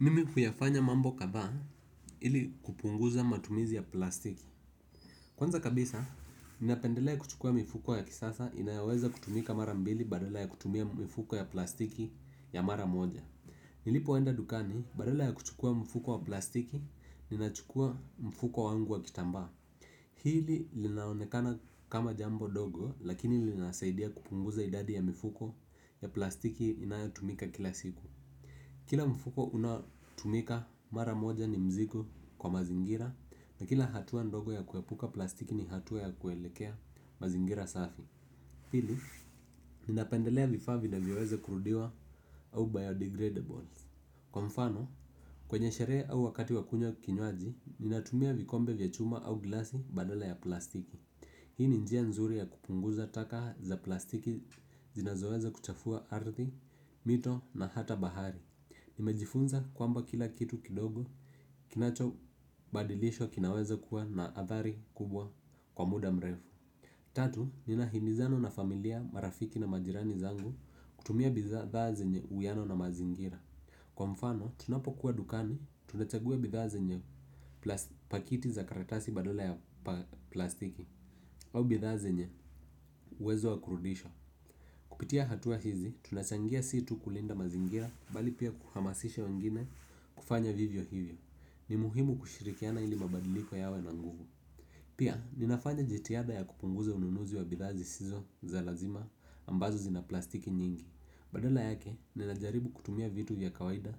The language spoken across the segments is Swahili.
Mimi huyafanya mambo kadhaa ili kupunguza matumizi ya plastiki. Kwanza kabisa ninapendelea kuchukua mifuko ya kisasa inayaweza kutumika mara mbili badala ya kutumia mifuko ya plastiki ya mara moja. Nilipoenda dukani badala ya kuchukua mifuko ya plastiki ninachukua mifuko wangu wa kitamba. Hili linaonekana kama jambo dogo lakini linasaidia kupunguza idadi ya mifuko ya plastiki inayotumika kila siku. Kila mfuko unatumika mara moja ni mzigo kwa mazingira na kila hatuwa ndogo ya kuepuka plastiki ni hatua ya kuelekea mazingira safi. Pili, ninapendelea vifaa vinavyoweze kurudiwa au biodegradables. Kwa mfano, kwenye sherehe au wakati wakunywa kinywaji, ninatumia vikombe vya chuma au glasi badala ya plastiki. Hii ninjia nzuri ya kupunguza taka za plastiki zinazoweza kuchafua ardhi, mito na hata bahari. Nimejifunza kwamba kila kitu kidogo kinacho badilishwa kinaweza kuwa na athari kubwa kwa muda mrefu. Tatu, nina himizana na familia marafiki na majirani zangu kutumia bidhaa zenye uwiano na mazingira. Kwa mfano, tunapo kuwa dukani, tunachaguwa bidhaa zenye pakiti za karatasi badala ya plastiki. Au bidhaa zenye uwezo wakurudisha kupitia hatua hizi, tunachangia situ kulinda mazingira bali pia kuhamasisha wengine kufanya vivyo hivyo. Ni muhimu kushirikiana ili mabadiliko yawe na nguvu. Pia, ninafanya jitiada ya kupunguza ununuzi wa bidhaa zisizo za lazima ambazo zina plastiki nyingi. Badala yake, ninajaribu kutumia vitu ya kawaida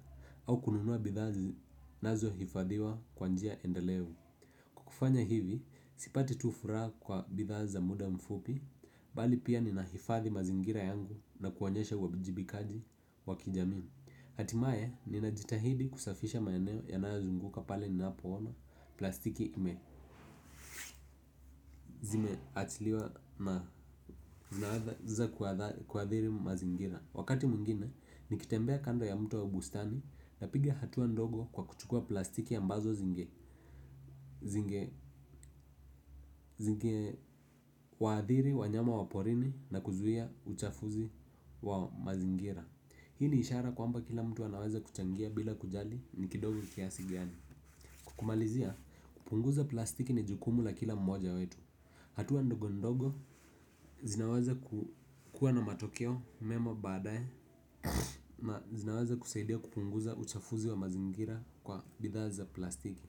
au kununua bidhazi nazo hifadhiwa kwanjia endelevu. Kufanya hivi, sipati tu furaha kwa bidhaza muda mfupi, bali pia ninahifadhi mazingira yangu na kuwanyesha waijibikaji wakijamii. Hatimaye, ninajitahidi kusafisha maeneo yanayazunguka pale ni napoona plastiki ime zima achiliwa na zinaweza kuadhiri mazingira. Wakati mwingine, nikitembea kando ya mto au bustani na pigia hatuwa ndogo kwa kuchukua plastiki ambazo zinge zinge waadhiri, wanyama waporini na kuzuia uchafuzi wa mazingira. Hii ni ishara kwa mba kila mtu wanaweza kuchangia bila kujali ni kidogo kiasigiani. Kukumalizia, kupunguza plastiki ni jukumu la kila mmoja wetu. Hatuwa ndogo ndogo zinaweza kukua na matokeo, mema badae. Na zinaweza kusaidia kupunguza uchafuzi wa mazingira kwa bidhaa za plastiki.